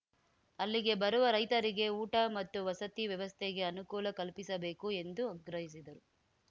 ಅಲ್ಲಿಗೆ ಬರುವ ರೈತರಿಗೆ ಊಟ ಮತ್ತು ವಸತಿ ವ್ಯವಸ್ಥೆಗೆ ಅನುಕೂಲ ಕಲ್ಪಿಸಬೇಕು ಎಂದು ಆಗ್ರಹಿಸಿದರು